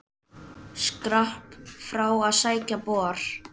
Skrapp frá að sækja bor.